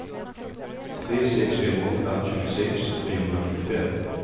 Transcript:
tre sex fem åtta tjugosex trehundranittiofem